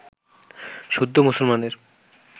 শুদ্ধ মুসলমানের